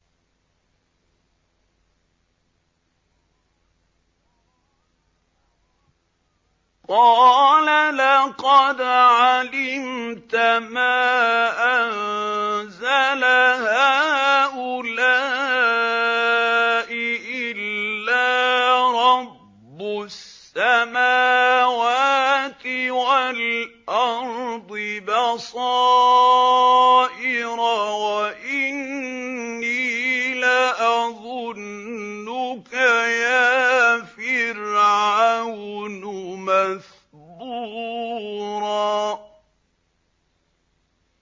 قَالَ لَقَدْ عَلِمْتَ مَا أَنزَلَ هَٰؤُلَاءِ إِلَّا رَبُّ السَّمَاوَاتِ وَالْأَرْضِ بَصَائِرَ وَإِنِّي لَأَظُنُّكَ يَا فِرْعَوْنُ مَثْبُورًا